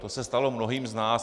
To se stalo mnohým z nás.